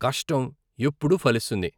కష్టం ఎప్పుడూ ఫలిస్తుంది.